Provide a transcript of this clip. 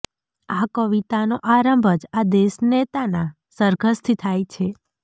આ કવિતાનો આરંભ જ આ દેશનેતાના સરઘસથી થાય છે